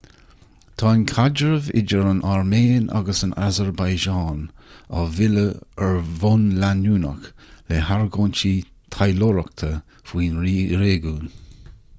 tá an caidreamh idir an airméin agus an asarbaiseáin á mhilleadh ar bhonn leanúnach le hargóintí taidhleoireachta faoin réigiún